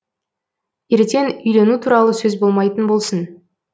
ертең үйлену туралы сөз болмайтын болсын